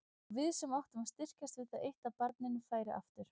Og við sem áttum að styrkjast við það eitt að barninu færi aftur.